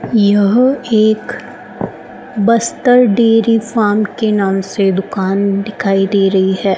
यह एक Bastar dairy farm के नाम से दुकान दिखाई दे रही है।